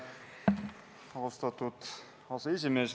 Austatud aseesimees!